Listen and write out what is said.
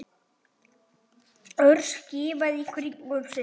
Örn skimaði í kringum sig.